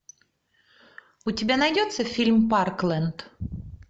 у тебя найдется фильм парклэнд